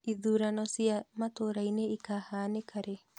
Ithurano cia matũra-inĩ ũkahanĩka rĩ?